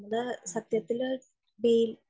അത് സത്യത്തില്